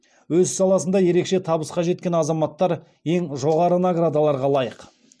өз саласында ерекше табысқа жеткен азаматтар ең жоғары наградаларға лайық